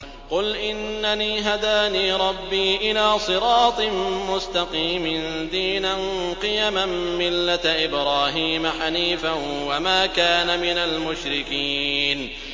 قُلْ إِنَّنِي هَدَانِي رَبِّي إِلَىٰ صِرَاطٍ مُّسْتَقِيمٍ دِينًا قِيَمًا مِّلَّةَ إِبْرَاهِيمَ حَنِيفًا ۚ وَمَا كَانَ مِنَ الْمُشْرِكِينَ